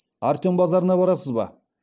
артем базарына барасыз ба